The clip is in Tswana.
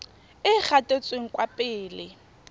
e e gatetseng kwa pele